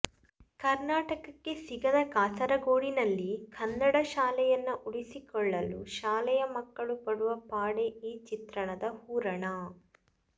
ಕರ್ನಾಟಕಕ್ಕೆ ಸಿಗದ ಕಾಸರಗೋಡಿನಲ್ಲಿ ಕನ್ನಡ ಶಾಲೆಯನ್ನ ಉಳಿಸಿಕೊಳ್ಳಲು ಶಾಲೆಯ ಮಕ್ಕಳು ಪಡುವ ಪಾಡೇ ಈ ಚಿತ್ರದ ಹೂರಣ